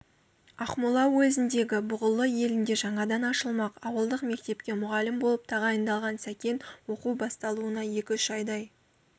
ақмола уезіндегі бұғылы елінде жаңадан ашылмақ ауылдық мектепке мұғалім болып тағайындалған сәкен оқу басталуына екі-үш айдай